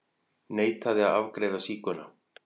Neitaði að afgreiða sígauna